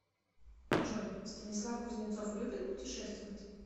джой станислав кузнецов любит путешествовать